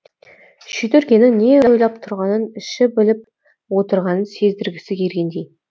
шидүргенің не ойлап тұрғанын іші біліп отырғанын сездіргісі келгендей